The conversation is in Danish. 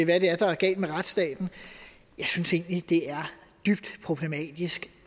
hvad det er der er galt med retsstaten jeg synes egentlig at det er dybt problematisk